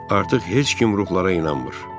Artıq heç kim ruhlara inanmır.